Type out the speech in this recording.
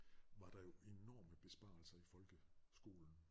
Var der jo enorme besparelser i folke skolen